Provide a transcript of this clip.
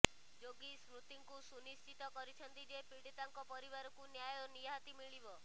ଯୋଗୀ ସ୍ମୃତିଙ୍କୁ ସୁନିଶ୍ଚିତ କରିଛନ୍ତି ଯେ ପୀଡ଼ିତାଙ୍କ ପରିବାରକୁ ନ୍ୟାୟ ନିହାତି ମିଳିବ